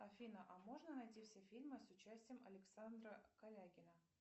афина а можно найти все фильмы с участием александра калягина